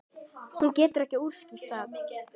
Hún getur ekki útskýrt það.